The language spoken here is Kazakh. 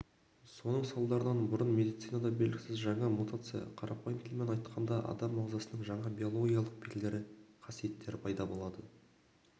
соның салдарынан бұрын медицинада белгісіз жаңа мутация қарапайым тілмен айтқанда адам ағзасының жаңа биологиялық белгілері қасиеттер пайда болады